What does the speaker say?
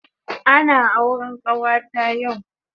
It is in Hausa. Ana auren kawata yau